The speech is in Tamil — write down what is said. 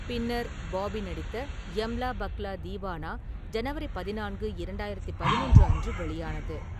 பின்னர் பாபி நடித்த 'யம்லா பக்லா தீவனா' ஜனவரி பதினான்கு, இரண்டாயிரத்து பதினொன்று அன்று வெளியானது.